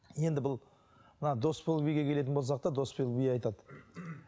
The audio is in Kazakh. енді бұл мына досбол биге келетін болсақ та досбол би айтады